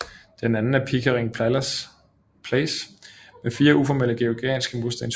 Den anden er Pickering Place med fire uformelle georgianske murstenshuse